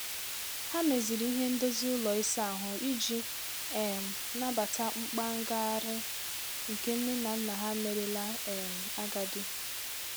Ha meziri ihe ndozi ụlọ ịsa ahụ iji um nabata mkpa ngagharị nke nne na nna ha merela um agadi.